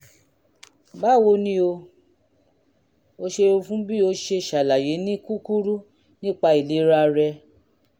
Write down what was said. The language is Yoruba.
báwo ni o? o ṣeun fún bí o ṣe ṣàlàyé ní kúkúrú nípa ìlera rẹ